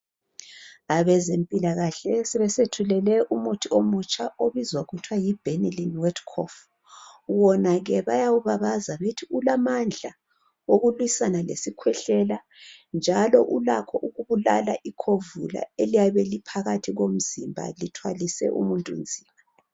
Abezempilakahle sebesethulele umuthi omutsha obizwa kuthiwa yi Benylin . Wona ke bayawubabaza bethi ulamandla okulwisana lesikhwehlela njalo ulakho ukubulala ikhovula eliphakathi komzimba lithwalise umuntu nzima.